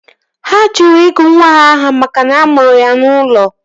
Ha jụrụ ịgụ nwa ahụ aha makana a mụrụ ya n'ụlọ